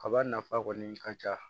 Kaba nafa kɔni ka ca